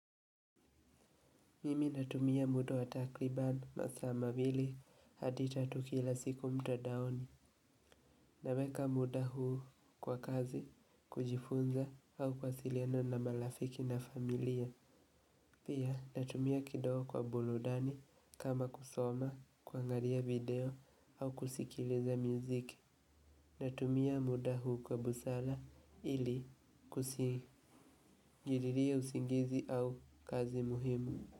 Mimi natumia muda wa takriban masaa mawili hadi tatu kila siku mtandaoni naweka muda huu kwa kazi kujifunza au kuwasiliana na marifiki na familia. Pia natumia kidogo kwa buludani kama kusoma, kuangaria video au kusikiliza miziki. Natumia muda huu kwa busala ili kusingiririe usingizi au kazi muhimu.